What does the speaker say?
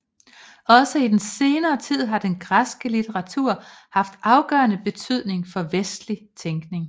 Også i senere tid har den græske litteratur haft afgørende betydning for vestlig tænkning